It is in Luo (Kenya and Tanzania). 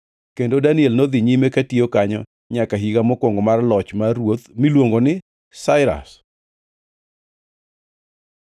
Kendo Daniel nodhi nyime katiyo kanyo nyaka higa mokwongo mar loch mar ruoth miluongo ni Sairas.